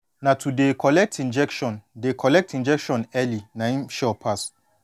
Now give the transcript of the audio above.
na to dey collect injection dey collect injection early na em sure pass